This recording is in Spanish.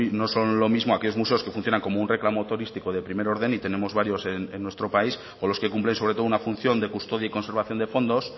no son lo mismo aquellos muesos que funcionan como un reclamo turístico de primer orden y tenemos varios en nuestro país o los que cumplen sobre todo una función de custodia y conservación de fondos